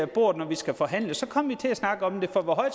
bordet når vi skal forhandle så kommer vi til at snakke om det for hvor